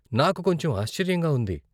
నాకు కొంచెం ఆశ్చర్యంగా ఉంది.